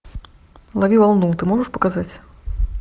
лови волну ты можешь показать